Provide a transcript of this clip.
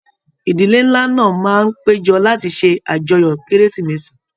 Ìdílé nlá náà máa n pejọ lati ṣe ajọ́yọ kérésìmesì.